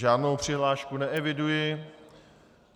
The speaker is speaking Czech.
Žádnou přihlášku neeviduji.